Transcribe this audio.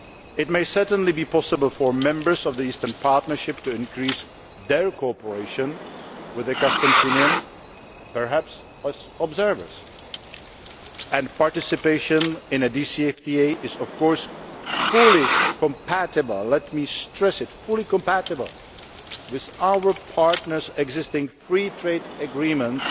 It may certainly be possible for members of the Eastern Partnership to increase their cooperation with the Customs Union, perhaps as observers, and participation in a DCFTA is of course fully compatible let me stress that fully compatible with our partners' existing free trade agreements